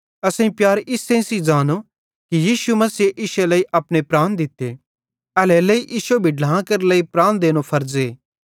असेईं प्यार इस्से सेइं ज़ांनो कि यीशु मसीहे इश्शे लेइ अपने प्राण दित्ते एल्हेरेलेइ इश्शो भी ढ्लां केरे लेइ प्राण देने फर्ज़े